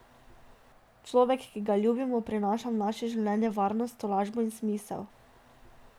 Človek, ki ga ljubimo, prinaša v naše življenje varnost, tolažbo in smisel.